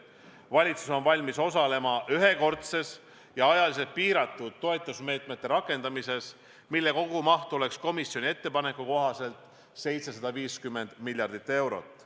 Valitsus on valmis osalema ühekordses ja ajaliselt piiratud toetusmeetmete rakendamises, mille kogumaht võiks komisjoni ettepaneku kohaselt olla 750 miljardit eurot.